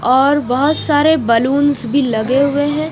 और बहुत सारे बलून्स भी लगे हुए है।